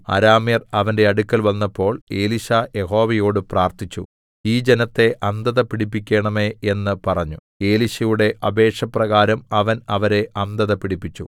അരാമ്യർ അവന്റെ അടുക്കൽ വന്നപ്പോൾ എലീശാ യഹോവയോട് പ്രാർത്ഥിച്ചു ഈ ജനത്തെ അന്ധത പിടിപ്പിക്കേണമേ എന്ന് പറഞ്ഞു എലീശയുടെ അപേക്ഷ പ്രകാരം അവൻ അവരെ അന്ധത പിടിപ്പിച്ചു